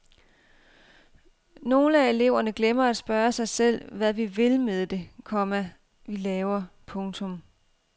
Nogle af eleverne glemmer at spørge sig selv hvad vi vil med det, komma vi laver. punktum